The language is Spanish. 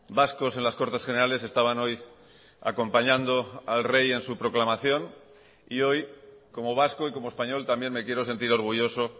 vascos en las cortes generales estaban hoy acompañando al rey en su proclamación y hoy como vasco y como español también me quiero sentir orgulloso